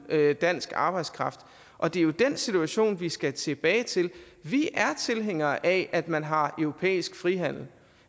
dansk arbejdskraft og det er jo den situation vi skal tilbage til vi er tilhængere af at man har europæisk frihandel og